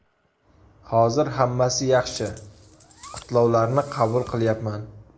Hozir hammasi yaxshi, qutlovlarni qabul qilyapman.